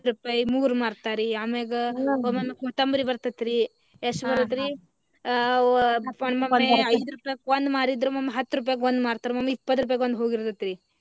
ಹತ್ತ್ ರೂಪಾಯಿ ಮೂರ್ ಮಾರ್ತಾರಿ ಅಮ್ಯಾಗ ಒಮ್ಮೊಮ್ಮೆ ಕೊತ್ತಂಬರಿ ಬರ್ತೇತ್ರಿ ಎಷ್ಟ ಬರುತ್ರಿ ಆ ಆ ಒಮ್ಮೊಮ್ಮೆ ಐದ ರೂಪಾಯಿಕ ಒಂದ ಮಾರಿದ್ರ ಒಮ್ಮೊಮ್ಮೆ ಹತ್ತ ರೂಪಾಯಿಕ್ ಒಂದ್ ಮಾರತಾರಿ ಒಮ್ಮೊಮ್ಮೆ ಇಪ್ಪತ್ತ ರೂಪಾಯಿಕ ಒಂದ ಹೋಗಿರತೇತೀರಿ